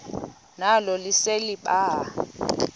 nalo lise libaha